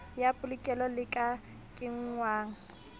ya polokelo le ka kenngwang